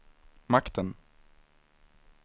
makten